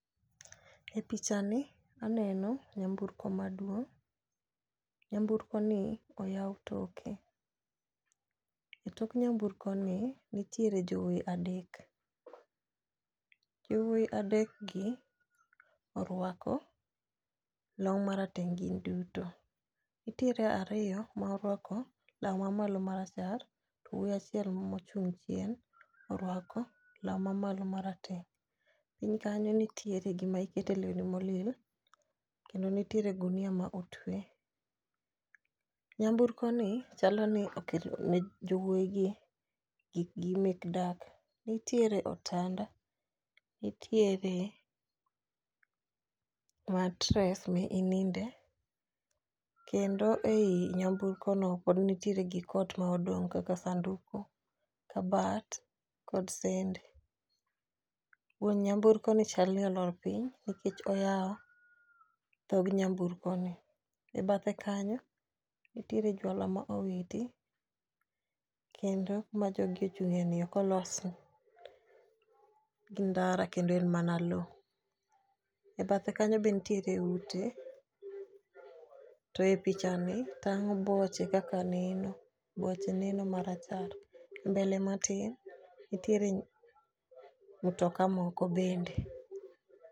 E pichani aneno nyamburko maduong' naymburkoni oyaw toke. E tok nyamburkoni nitiere jowuoyi adek, yowuoyi adekgi orwako long marateng' gin duto. Nitiere ariyo ma orwako law mamalo marachar to wuoyi achiel mochung' chien orwako law mamalo marateng'. Piny kanyo nitiere gima ikete lewni ma olil kendo nitiere gunia ma otwe. Nyamburkoni chalo ni okelone jowuoyigi gik gi mek dak, nitiere otanda, nitiere mattress mininde, kendo ei nyamburkono pod nitiere gik ot ma odong' kaka sanduk, kabat kod sende. Wuon nyamburkoni chal ni olor piny nikech oyawo dhog nyamburkoni. E bathe kanyo nitiere jwala ma owiti, kendo kuma jogi ochung'yeni ok olosi, gi ndara kendo en mana lowo. E bathe kanyo be nitiere ute, to e pichani tang'o boche kaka neno, boche neno marachar. Mbele matin nitiere mtoka moko bende.